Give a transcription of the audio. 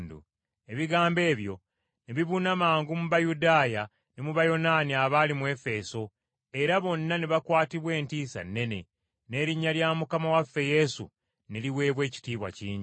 Ebigambo ebyo ne bibuna mangu mu Bayudaaya ne mu Bayonaani abaali mu Efeso, era bonna ne bakwatibwa entiisa nnene, n’erinnya lya Mukama waffe Yesu ne liweebwa ekitiibwa kingi.